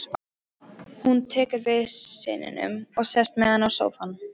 Hún tekur við syninum og sest með hann í sófann.